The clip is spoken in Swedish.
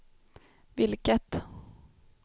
vilket